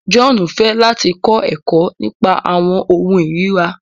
John fẹ láti kọ ẹkọ nípa awọn ohùn irira